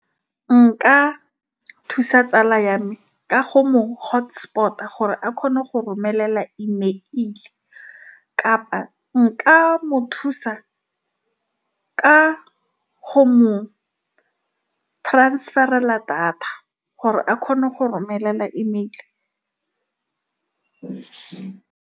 nka thusa tsala ya me ka go mo hotspot-a gore a kgone go romela email kapa nka mo thusa ka ho mong transfer-ela thata gore a kgone go romelela email